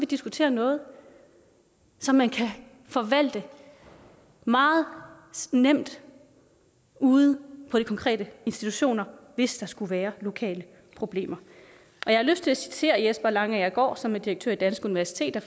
diskutere noget som man kan forvalte meget nemt ude på de konkrete institutioner hvis der skulle være lokale problemer jeg har lyst til at citere jesper langagergaard som er direktør i danske universiteter